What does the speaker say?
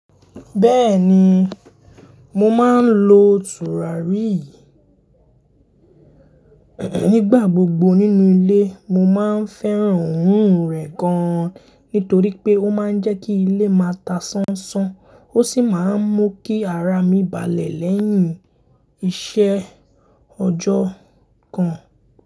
Bẹ́ẹ̀ni, mo máa ń lo tùràrí. Nígbà gbogbo nínú ilé. Mo máa ń fẹ́ràn òórùn rẹ̀ gan, nítorí pé ó máa ń jẹ́ kí ilé máa ta sánsán, ó sì máa ń mú kí ara mi balẹ̀ lẹ́yìn iṣẹ́ ọjọ́ kan.